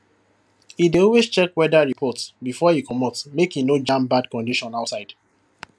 e dey always check weather report before e comot make e no jam bad condition outside